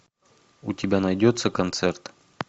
у тебя найдется концерт